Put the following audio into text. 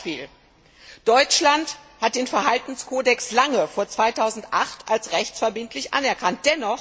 Ein Beispiel Deutschland hat den Verhaltenskodex lange vor 2008 als rechtsverbindlich anerkannt.